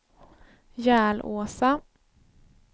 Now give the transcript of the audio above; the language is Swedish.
Järlåsa